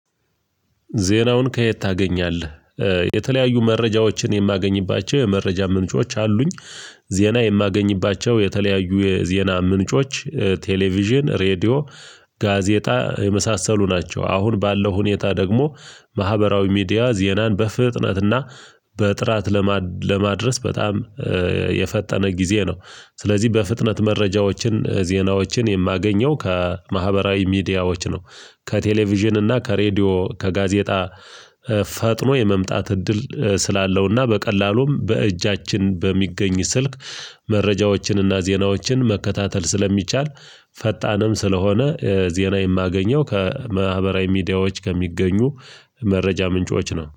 ዜናውን ከየት ታገኛለህ? የተለያዩ መረጃዎችን የማገኝባቸው የመረጃ ምንጮች አሉኝ ዜና የማገኝባቸው የተለያዩ የዜና ምንጮች ቴሌቪዥን ሬድዮ ጋዜጣ የመሳሰሉ ናቸው አሁን ባለው ሁኔታ ደግሞ ማህበራዊ ሚዲያ ዜናን በፍጥነትና በጥራት ለማድረስ በጣም የፈጠነ ጊዜ ነው ስለዚህ በፍጥነት መረጃዎችን ዜናዎችን የማገኘው ከማህበራዊ ሚዲያዎች ነው ከቴሌቪዥን እና ከሬዲዮ ከጋዜጣ ፈጥኖ የመምጣት እድል ስላለውና በቀላሉም በእጃችን በሚገኝ ስልክ መረጃዎችንና ዜናዎችን መከታተል ስለሚቻል ፈጣንም ስለሆነ ዜና የማገኘው ከማህበራዊ ሚዲያዎች ከሚገኙ መረጃ ምንጮች ነው።